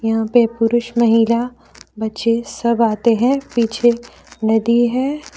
यहां पे पुरुष महिला बच्चे सब आते हैं पीछे नदी है।